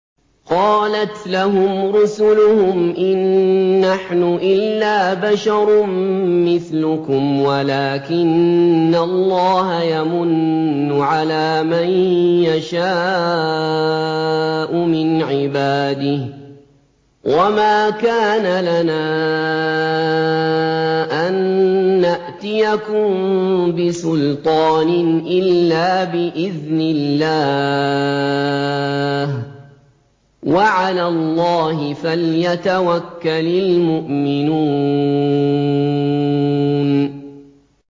قَالَتْ لَهُمْ رُسُلُهُمْ إِن نَّحْنُ إِلَّا بَشَرٌ مِّثْلُكُمْ وَلَٰكِنَّ اللَّهَ يَمُنُّ عَلَىٰ مَن يَشَاءُ مِنْ عِبَادِهِ ۖ وَمَا كَانَ لَنَا أَن نَّأْتِيَكُم بِسُلْطَانٍ إِلَّا بِإِذْنِ اللَّهِ ۚ وَعَلَى اللَّهِ فَلْيَتَوَكَّلِ الْمُؤْمِنُونَ